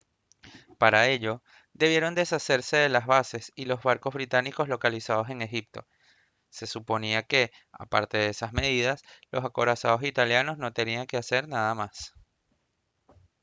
para ello debieron deshacerse de las bases y los barcos británicos localizados en egipto se suponía que aparte de esas medidas los acorazados italianos no tenían que hacer nada más